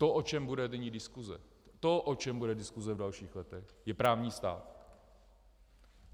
To, o čem bude nyní diskuse, to, o čem bude diskuse v dalších letech, je právní stát.